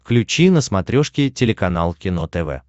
включи на смотрешке телеканал кино тв